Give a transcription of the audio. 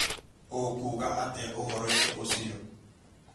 ũkuuga atĩa ũhoro-inĩ ũcio